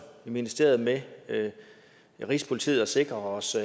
i ministeriet med rigspolitiet og sikrer os